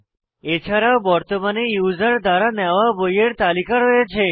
এছাড়া বর্তমানে ইউসার দ্বারা নেওয়া বইয়ের তালিকা রয়েছে